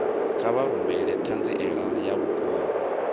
kha vha rumele ṱhanziela ya vhukuma